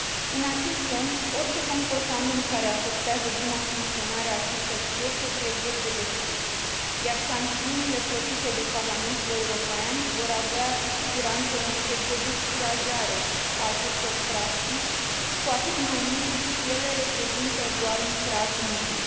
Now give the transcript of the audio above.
În acest sens, orice comportament care afectează buna funcționare a acestor piețe trebuie pedepsit, iar sancțiunile propuse de Parlamentul European vor avea cu siguranță un efect de descurajare a acestor practici, cu atât mai mult cu cât ele reprezintă doar un prag minim.